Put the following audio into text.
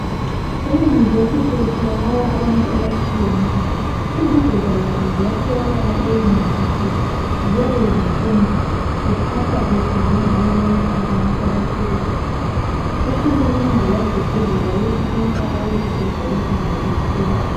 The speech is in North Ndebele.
Eyunivesithi kutholakala abantu abatshiyeneyo, izigoga lazo ziyatholakala eyunivesithi ziyabe zifunda. Ziphathwa kuhle njengabo bonke abantu abaphilayo. Uhulumende uyagqugquzela ukuthi bonke abayizigoga behambe esikolo.